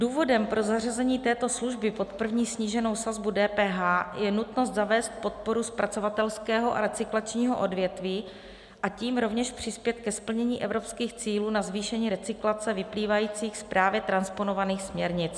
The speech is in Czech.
Důvodem pro zařazení této služby pod první sníženou sazbu DPH je nutnost zavést podporu zpracovatelského a recyklačního odvětví, a tím rovněž přispět ke splnění evropských cílů na zvýšení recyklace vyplývajících z právě transponovaných směrnic.